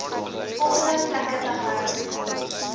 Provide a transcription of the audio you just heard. volgende plekke gehou